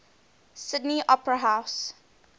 sydney opera house